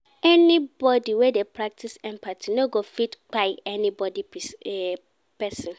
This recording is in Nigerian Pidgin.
Anybodi wey dey practice empathy no go fit kpai anoda pesin.